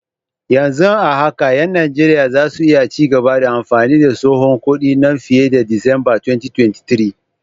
Yanzu haka 'yan Najeriya za su iya ci gaba da amfani da tsohon kudin nan fiye da Disamba 2023.